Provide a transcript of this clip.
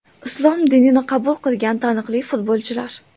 Islom dinini qabul qilgan taniqli futbolchilar .